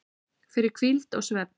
fyrir hvíld og svefn